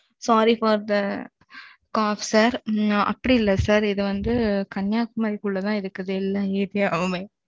Sorry for the cough sir அப்படி இல்லை sir இது வந்து, கன்னியாகுமரிக்குள்ளதான் இருக்குது, எல்லா area வுமே